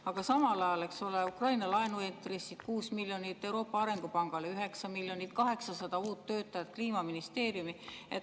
Aga samal ajal, eks ole, Ukraina laenu intressid 4 miljonit, Euroopa Arengupangale 9 miljonit, 800 uut töötajat Kliimaministeeriumi.